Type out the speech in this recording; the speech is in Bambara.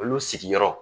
Olu sigiyɔrɔ